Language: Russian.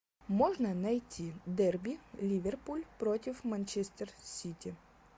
можно найти дерби ливерпуль против манчестер сити